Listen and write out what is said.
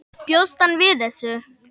Bjóst hann við þessu?